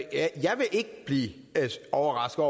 ikke blive overrasket